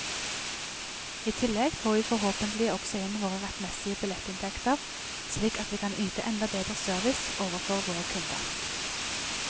I tillegg får vi forhåpentlig også inn våre rettmessige billettinntekter, slik at vi kan yte enda bedre service overfor våre kunder.